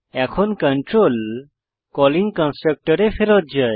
এখন control calling কন্সট্রকটরে ফেরৎ যায়